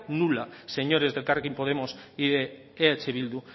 nula señores de elkarrekin podemos y de eh bildu